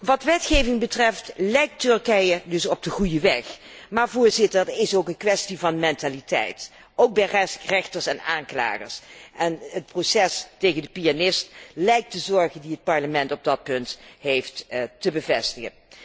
Wat wetgeving betreft lijkt Turkije dus op de goede weg, maar het is ook een kwestie van mentaliteit, ook bij rechters en aanklagers. Het proces tegen de pianist lijkt de zorg die het Parlement op dat punt heeft, te bevestigen.